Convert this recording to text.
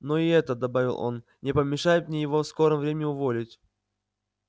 но и это добавил он не помешает мне его в скором времени уволить